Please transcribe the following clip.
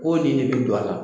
Ko nin de bi do a la